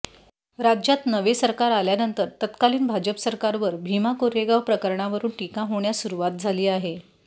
राज्यात नवे सरकार आल्यानंतर तत्कालीन भाजप सरकारवर भीमा कोरेगाव प्रकरणावरुन टीका होण्यास सुरुवात झाली आहे